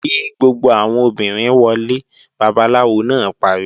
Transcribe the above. Kí gbogbo àwọn obìnrin wọlé! Babaláwo náà pariwo!